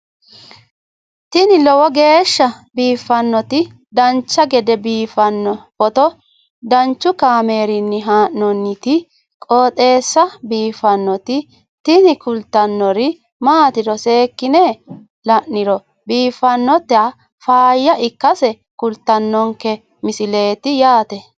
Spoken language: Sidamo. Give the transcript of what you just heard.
tini lowo geeshsha biiffannoti dancha gede biiffanno footo danchu kaameerinni haa'noonniti qooxeessa biiffannoti tini kultannori maatiro seekkine la'niro biiffannota faayya ikkase kultannoke misileeti yaate